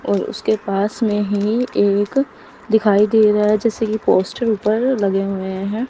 और उसके पास में ही एक दिखाई दे रहा है जैसे कि पोस्टर ऊपर लगे हुए हैं।